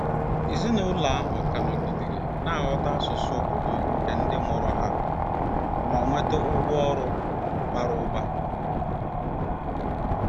Ezinụlọ ahụ ka nọgidere na-aghọta asụsụ obodo nke ndị mụrụ ha ma nweta ụgwọ ọrụ bara ụba.